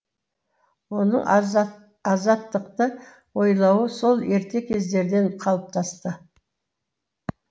оның азат азаттықты ойлауы сол ерте кездерден қалыптасты